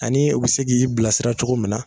Ani u bɛ se k'i bilasira cogo min na.